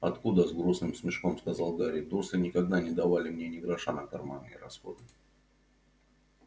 откуда с грустным смешком сказал гарри дурсли никогда не давали мне ни гроша на карманные расходы